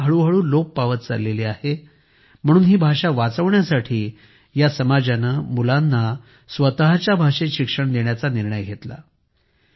ही भाषा हळूहळू लोप पावत चालली आहे म्हणून ही भाषा वाचवण्यासाठी या समाजाने मुलांना स्वतःच्या भाषेत शिक्षण देण्याचा निर्णय घेतला